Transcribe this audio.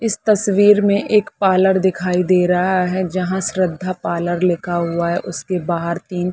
इस तस्वीर में एक पार्लर दिखाई दे रहा है जहाँ श्रद्धा पार्लर लिखा हुआ है। उसके बाहर तीन--